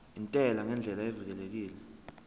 intela ngendlela evikelekile